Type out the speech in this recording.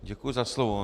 Děkuju za slovo.